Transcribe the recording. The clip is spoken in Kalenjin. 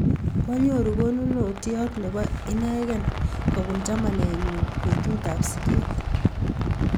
Kwaanyoru konunot ne po inekey kopin chamanennyu petut ap siget